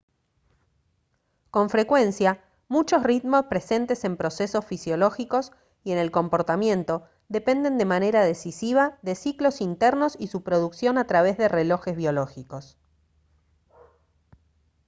con frecuencia muchos ritmos presentes en procesos fisiológicos y en el comportamiento dependen de manera decisiva de ciclos internos y su producción a través de relojes biológicos